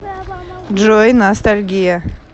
джой ностальгия